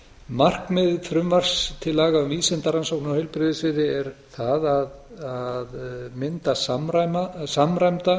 markmið frumvarps til laga um vísindarannsóknir á heilbrigðissviði er það að mynda samræmda